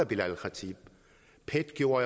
belal el khatib pet gjorde